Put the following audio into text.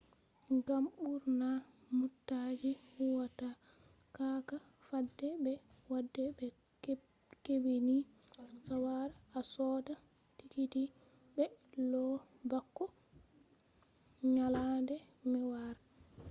ngam ɓurna mootaji huwata cakka fadde be fadde do hebbini sawara a soda tikiti be lau bako nyalade mai wara